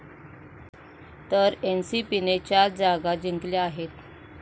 तर एनसीपीने चार जागा जिंकल्या आहेत.